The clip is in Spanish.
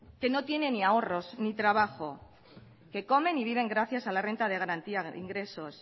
que no tiene ni ahorros ni trabajo que comen y viven gracias a la renta de garantía de ingresos